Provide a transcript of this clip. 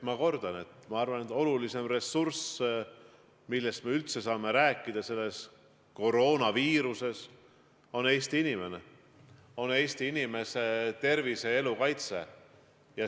Ma kordan: ma arvan, et olulisim ressurss, millest me üldse saame rääkida selles koroonaviiruse põhjustatud olukorras, on Eesti inimene, ja põhiline ongi Eesti inimese tervise ja elu kaitse.